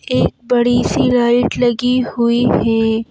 एक बड़ी सी लाइट लगी हुई है।